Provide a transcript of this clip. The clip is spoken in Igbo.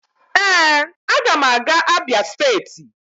Ee, a ga m aga Abia state